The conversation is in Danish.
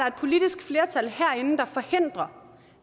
et politisk flertal herinde der forhindrer